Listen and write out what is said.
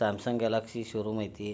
Samsung Galaxy showroom ಅಯ್ತಿ.